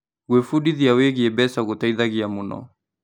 Gwĩbundithia wĩgiĩ mbeca gũteithagia mũno.